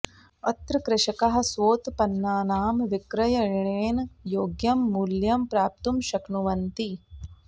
अत्र कृषकाः स्वोत्पन्नानाम् विक्रयणेन योग्यं मूल्यं प्राप्तुं शक्नुवन्ति